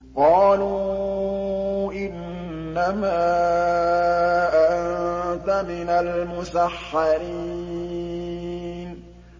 قَالُوا إِنَّمَا أَنتَ مِنَ الْمُسَحَّرِينَ